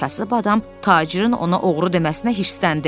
Kasıb adam tacirin ona oğru deməsinə hirsləndi.